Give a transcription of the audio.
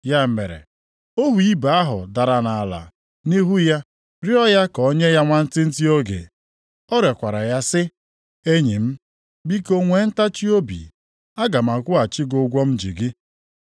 “Ya mere, ohu ibe ya ahụ dara nʼala nʼihu ya rịọọ ya ka o nye ya nwantịntị oge. Ọ rịọkwara ya sị, ‘Enyi m, biko nwee ntachiobi, aga m akwụghachi gị ụgwọ m ji gị.’